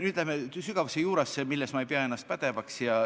Nüüd läheme sügavasse juurasse, milles ma ei pea ennast pädevaks.